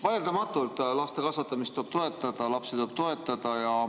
Vaieldamatult tuleb laste kasvatamist toetada, lapsi tuleb toetada.